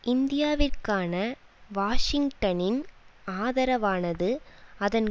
இந்தியாவிற்கான வாஷிங்டனின் ஆதரவானது அதன்